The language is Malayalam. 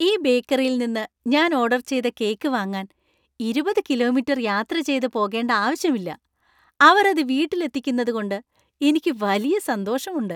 ഈ ബേക്കറിൽ നിന്ന് ഞാൻ ഓർഡർ ചെയ്ത കേക്ക് വാങ്ങാൻ ഇരുപത് കിലോമീറ്റർ യാത്ര ചെയ്ത പോകേണ്ട ആവശ്യമില്ല , അവർ അത് വീട്ടിൽ എത്തിക്കുന്നതുകൊണ്ട് എനിക്ക് വലിയ സന്തോഷമുണ്ട്.